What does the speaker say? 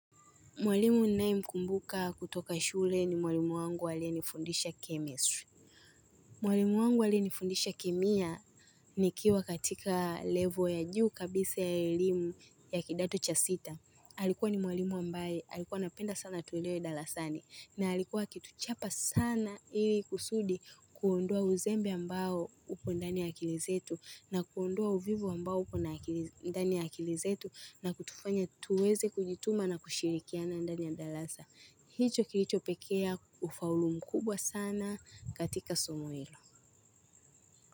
Mwalimu ninayemkumbuka kutoka shule ni mwalimu wangu aliyenifundisha chemistry. Mwalimu wangu aliyenifundisha kemia nikiwa katika level ya juu kabisa ya elimu ya kidato cha sita. Alikua ni mwalimu ambaye alikua anapenda sana tuelewe darasani. Na alikuwa akituchapa sana ili kusudi kuondoa uzembe ambao upo ndani ya akili zetu na kuondoa uvivu ambao upo na ndani ya akili zetu na kutufanya tuweze kujituma na kushirikiana ndani ya darasa. Hicho kilicho pelekea ufaulu mkubwa sana katika Somo hilo.